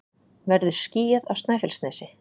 verður skýjað á snæfellsnesi